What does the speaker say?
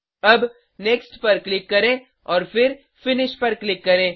अब नेक्स्ट पर क्लिक करें और फिर फिनिश पर क्लिक करें